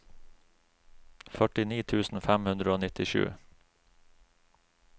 førtini tusen fem hundre og nittisju